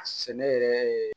A sɛnɛ yɛrɛ ye